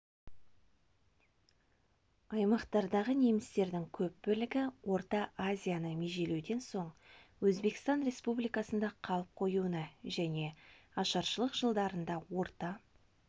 аймақтағы немістердің көп бөлігі орта азияны межелеуден соң өзбекстан республикасында қалып қоюына және ашаршылық жылдарында орта